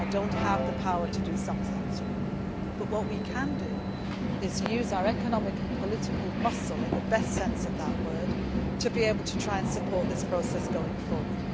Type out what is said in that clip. can do. I do not have the power to do some things, but what we can do is use our economic and political muscle in the best sense of that word to be able to try and support this process going